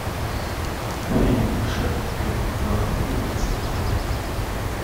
фильм шаг вперед два улицы открой